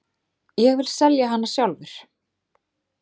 Ég vil selja hana sjálfur.